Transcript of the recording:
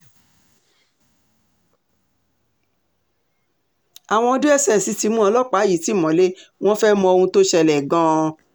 àwọn dss ti mú ọlọ́pàá yìí ti mọ́lẹ̀ wọn fẹ́ẹ́ mọ ohun tó ṣẹlẹ̀ gan-an